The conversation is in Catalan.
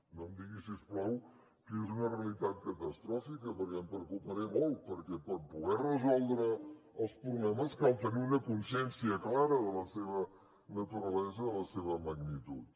no em digui si us plau que és una realitat catastròfica perquè em preocuparé molt perquè per poder resoldre els problemes cal tenir una consciència clara de la seva naturalesa de la seva magnitud